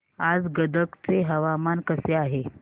आज गदग चे हवामान कसे आहे